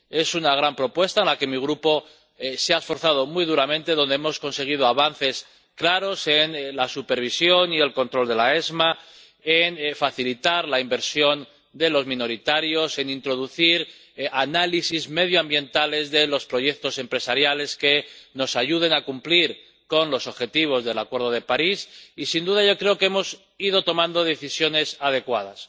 Es una gran propuesta en la que mi Grupo se ha esforzado muy duramente, donde hemos conseguido avances claros en la supervisión y el control de la ESMA, en facilitar la inversión de los minoristas, en introducir análisis medioambientales de los proyectos empresariales que nos ayuden a cumplir con los objetivos del Acuerdo de París y, sin duda, yo creo que hemos ido tomando decisiones adecuadas.